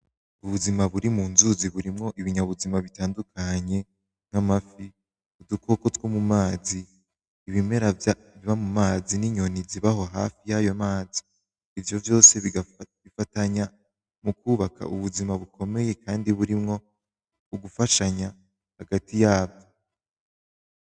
Ubuzima buri mu nzuzi burimwo ibinyabuzima bitandukanye nk'amafi, udukoko two mu mazi, ibimera biba mu mazi, n'inyoni ziba aho hafi y'ayo mazi, ivyo vyose bigafatanya mu kubaka ubuzima bukomeye kandi burimwo ugufashanya hagati yavyo.